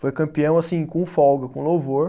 Foi campeão, assim, com folga, com louvor.